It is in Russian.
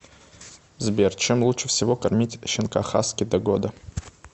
сбер чем лучше всего кормить щенка хаски до года